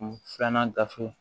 Filanan gafe